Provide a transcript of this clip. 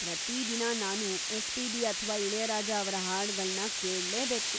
ಪ್ರತೀ ದಿನ ನಾನು ಎಸ್.ಪಿ.ಬಿ. ಅಥ್ವಾ ಇಳಯರಾಜ ಅವ್ರ ಹಾಡ್ಗಳ್ನ ಕೇಳ್ಲೇಬೇಕು.